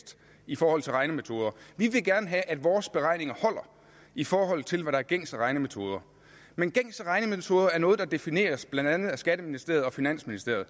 i forhold til regnemetoder vi vil gerne have at vores beregninger holder i forhold til hvad der er gængse regnemetoder men gængse regnemetoder er noget der defineres af blandt andet skatteministeriet og finansministeriet og